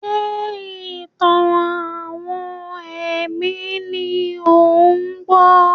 Ṣé ìtàn-àwọn ẹ̀mí ni ò ń gbọ́?